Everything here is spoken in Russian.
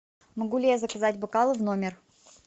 могу ли я заказать бокалы в номер